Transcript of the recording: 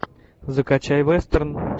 закачай вестерн